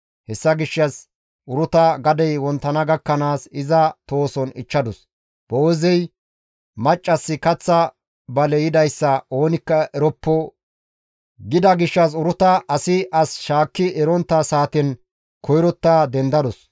Hessa gishshas Uruta gadey wonttana gakkanaas iza tohoson ichchadus; Boo7eezey, «Maccassi kaththa bale yidayssa oonikka eroppo» gida gishshas Uruta asi as shaakki erontta saaten koyrotta dendadus.